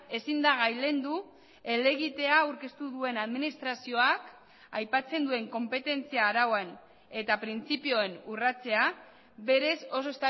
ezin da gailendu helegitea aurkeztu duen administrazioak aipatzen duen konpetentzia arauen eta printzipioen urratzea berez oso